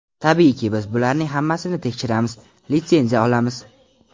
Tabiiyki, biz bularning hammasini tekshiramiz, litsenziya olamiz.